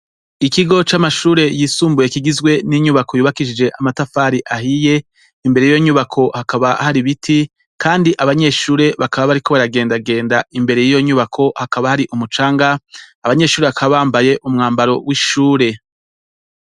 Ikigo c'amashure yisumbuye kigizwe n'inyubako yubakishije amatafari ahiye imbere yiyo nyubako hakaba hari ibiti Kandi abanyeshure bakaba bariko baragendagenda, imbere yiyo nyubako hakaba hari umucanga abanyeshure bakaba bambaye umwambaro w'ishure.